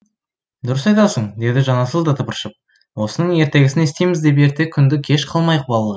дұрыс айтасың деді жанасыл да тыпыршып осының ертегісін естиміз деп ерте күнді кеш қылмайық балалар